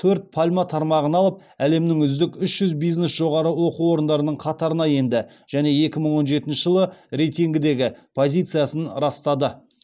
төрт пальма тармағын алып әлемнің үздік үш жүз бизнес жоғары оқу орындарының қатарына енді және екі мың он жетінші жылы рейтингідегі позициясын растады